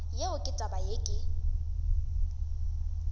yeo ke taba yeo ke